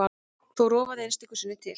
Þó rofaði einstöku sinnum til.